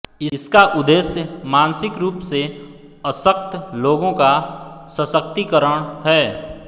इसका उद्देश्य मानसिक रूप से अशक्त लोगों का सशक्तीकरण है